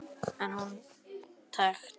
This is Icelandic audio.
En hún tekst.